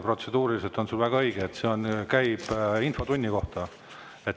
Protseduuriliselt, väga õige, see käib infotunni kohta.